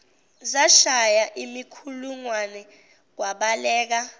zashaya imikhulungwane kwabaleka